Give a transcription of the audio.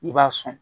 I b'a sɔn